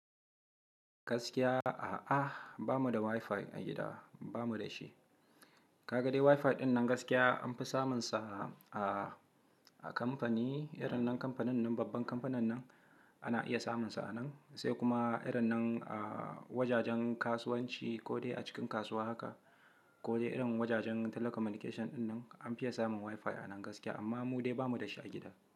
Gaskiya a'a, ba mu da Wi-Fi a gida, ba mu da shi. Ka ga dai Wi-Fi ɗinnan gaskiya an fi samunsa a, a kamfani, irin nan kamfanin nan, babban kamfanin nan ana iya samunsa a nan. Sai kuma irin nan a wajajen kasuwanci ko dai a cikin kasuwa haka ko dai irin wajajen telecommunication dinnan an fi iya samun Wi-Fi a nan gaskiya amma mu dai ba mu da shi a gida.